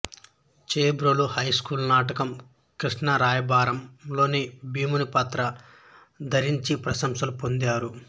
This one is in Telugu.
చేబ్రోలు హైస్కూలు నాటకం కృష్ణరాయబారం లో భీముని పాత్ర ధరించి ప్రశంసలు పొందారు